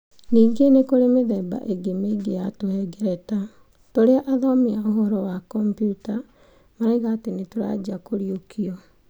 Ningĩ nĩ kũrĩ mĩthemba ĩngĩ mĩingĩ ya tũhengereta .Tũrĩa athomi a ũhoro wa kompiuta marauga atĩ nĩ tũrajia kũriũkio.